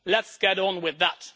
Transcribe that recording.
Let's get on with that.